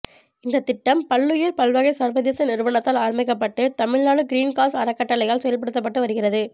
இந்த திட்டம் பல்லுயிர் பல்வகை சர்வதேச நிறுவனத்தால் ஆரம்பிக்கப்பட்டு தமிழ்நாடு கிரீன் காஸ் அறக்கட்டளையால் செயல்படுத்தப்பட்டது வருகிறது